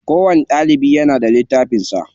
Kowani ɗalibi yana da littafin sa.